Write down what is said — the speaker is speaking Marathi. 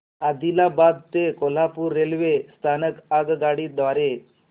आदिलाबाद ते कोल्हापूर रेल्वे स्थानक आगगाडी द्वारे